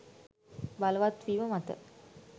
බලවත් වීම මත